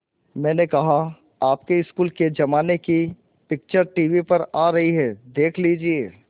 मैंने कहा आपके स्कूल के ज़माने की पिक्चर टीवी पर आ रही है देख लीजिये